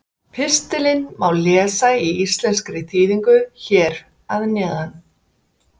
Pistilinn má lesa í íslenskri þýðingu hér að neðan.